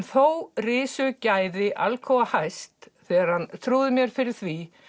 þó risu gæði Alcoa hæst þegar hann trúði mér fyrir því